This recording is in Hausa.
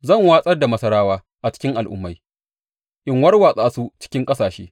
Zan watsar da Masarawa a cikin al’ummai in warwatsa su cikin ƙasashe.